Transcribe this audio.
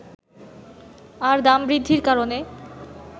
আর দাম বৃদ্ধির কারণে